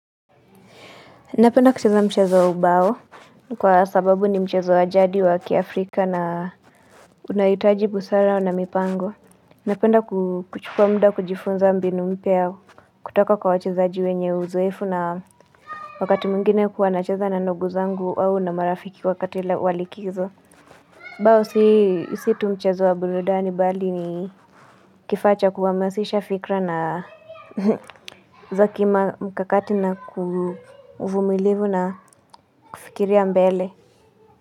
Napenda kucheza mchezo wa ubao, kwa sababu ni mchezo ya jadi wa kiafrika na unahitaji busara na mipango. Napenda kuichukua muda kujifunza mbinu mpya ya kutoka kwa wachezaji wenye uzoefu na wakati mwingine huwa nacheza na ndugu zangu au na marafiki wakati ule wa likizo. Bao si tu mchezo wa burudani bali ni kifaa cha kuhamasisha fikra na za kimkakati na ufumilivu na kufikiria mbele.